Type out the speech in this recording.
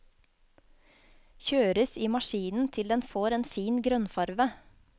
Kjøres i maskinen til den får en fin grønn farve.